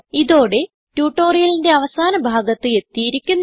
ഇതോടെ ട്യൂട്ടോറിയലിന്റെ അവസാന ഭാഗത്ത് എത്തിയിരിക്കുന്നു